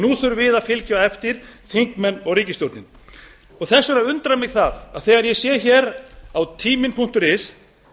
nú þurfum við að fylgja á eftir þingmenn og ríkisstjórnin þess vegna undrar mig það að þegar ég sé á timinn punktur is